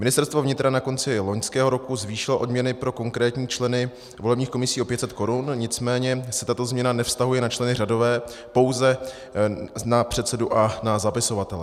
Ministerstvo vnitra na konci loňského roku zvýšilo odměny pro konkrétní členy volebních komisí o 500 korun, nicméně se tato změna nevztahuje na členy řadové, pouze na předsedu a na zapisovatele.